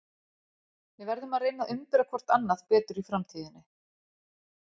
Við verðum að reyna að umbera hvort annað betur í framtíðinni.